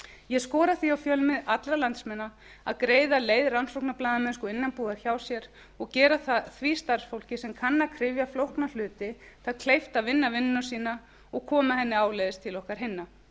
ég skora því á fjölmi allra landsmanna að greiða leið rannsóknarblaðamennsku innanbúðar hjá sér og gera því starfsfólki sem kann að kryfja flókna hluti það kleift að vinna vinnuna sína og koma henni áleiðis til okkar hinna